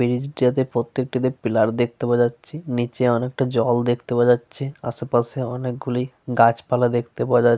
Bridge টাতে প্রত্যেকটাতে pillar দেখতে পাওয়া যাচ্ছে। নিচে অনেকটা জল দেখতে পাওয়া যাচ্ছে। আশেপাশে অনেকগুলি গাছপালা দেখতে পাওয়া যা --